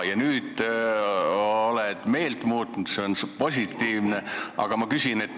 Nüüd oled sa meelt muutnud, oled positiivselt häälestatud.